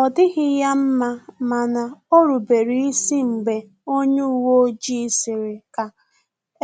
Ọ dịghị ya mma mana orubere isi mgbe onye uwe ojii sịrị ka